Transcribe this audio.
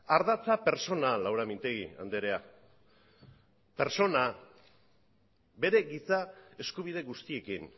ardatza pertsonal laura mintegi anderea bere giza eskubide guztiekin